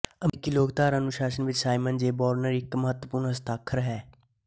ਅਮਰੀਕੀ ਲੋਕਧਾਰਾ ਅਨੁਸ਼ਾਸਨ ਵਿੱਚ ਸਾਈਮਨ ਜੇ ਬ੍ਰੋਨਰ ਇਕ ਮਹੱਤਵਪੂਰਨ ਹਸਤਾਖਰ ਹੈ